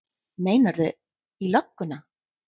Meinarðu. í lögguna?